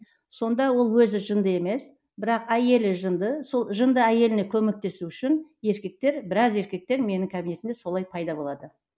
сонда ол өзі жынды емес бірақ әйелі жынды сол жынды әйеліне көмектесу үшін еркектер біраз еркектер менің кабинетіме солай пайда болады